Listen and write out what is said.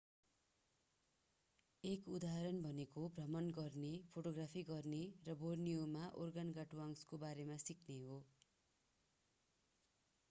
एक उदाहरण भनेको भ्रमण गर्ने फोटोग्राफी गर्ने र बोर्निओमा ओर्गानगाटुआङ्गस्‌को बारेमा सिक्ने हो।